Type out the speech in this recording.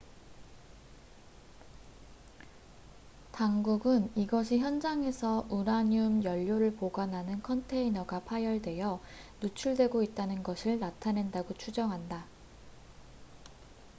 당국은 이것이 현장에서 우라늄 연료를 보관하는 컨테이너가 파열되어 누출되고 있다는 것을 나타낸다고 추정한다